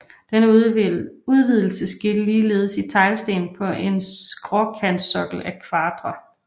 Denne udvidelse skete ligeledes i teglsten på en skråkantsokkel af kvadre